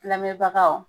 Kllɛnbagaw